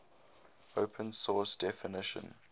open source definition